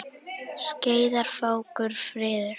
Skeiðar fákur fríður.